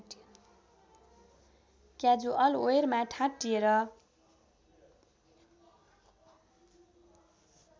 casual वेयरमा ठाँटिएर